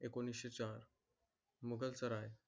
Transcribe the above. एकोणीस चार मुघलसराय.